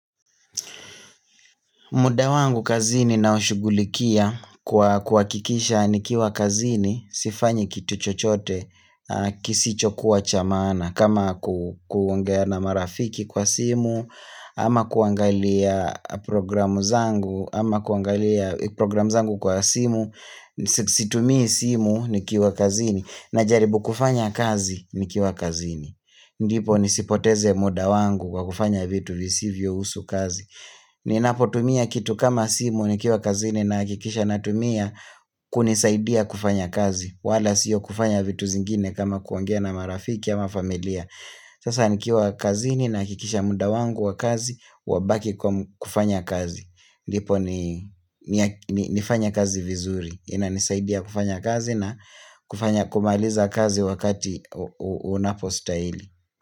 Muda wangu kazini naushugulikia kwa kuhakikisha nikiwa kazini, sifanyi kitu chochote, kisicho kuwa cha maana, kama kuongea na marafiki kwa simu, ama kuangalia programu zangu, ama kuangalia programu zangu kwa simu, situmi simu nikiwa kazini, najaribu kufanya kazi nikiwa kazini. Ndipo nisipoteze muda wangu kwa kufanya vitu visivyo husu kazi Ninapotumia kitu kama simu nikiwa kazini na hakikisha natumia kunisaidia kufanya kazi wala sio kufanya vitu zingine kama kuongea na marafiki ama familia Sasa nikiwa kazini nahakikisha muda wangu wa kazi wabaki kufanya kazi ndipo nifanye kazi vizuri inanisaidia kufanya kazi na kumaliza kazi wakati unapostahili.